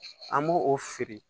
An b'o o feere